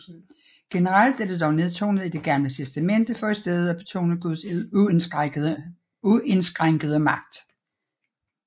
Generelt er det dog nedtonet i Det Gamle Testamente for i stedet at betone Guds uindskrænkede magt